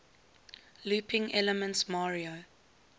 looping elements mario